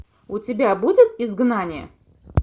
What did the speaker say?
у тебя будет изгнание